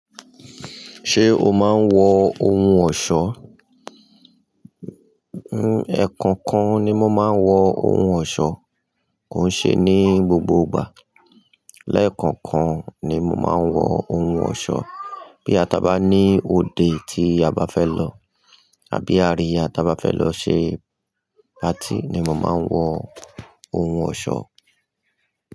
Ṣé o máa ń wọ ohun ọ̀ṣọ́? Ẹ̀ẹ̀kan kan ni mo máa ń wọ ohun ọ̀ṣọ́, kò ń ṣe ní gbogbo ìgbà. Lẹ́ẹ̀kan kan ni mo máa ń wọ ohun ọ̀ṣọ́ bí a ta bá ní òde tí a bá fẹ́ lọ àbí àríyá ta bá fẹ́ lọ ṣe patí ni mo máa ń wọ ohun ọ̀ṣọ́